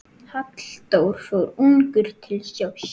Halldór fór ungur til sjós.